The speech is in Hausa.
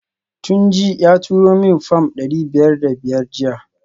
Tunji ya turo min fam dari biyar da biyar jiya